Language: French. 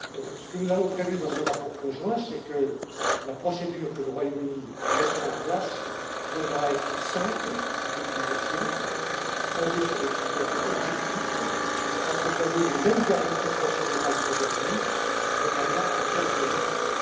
Ce que nous avons prévu dans ce rapport conjoint, c'est que la procédure que le Royaume Uni mettra en place devra être simple d'utilisation, fondée sur des critères objectifs, accompagnée des mêmes garanties procédurales qu'aujourd'hui, notamment en termes de recours.